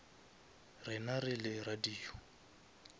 rena re le radio